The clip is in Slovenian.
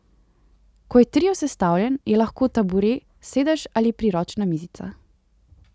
Ko je Trio sestavljen, je lahko taburet, sedež ali priročna mizica.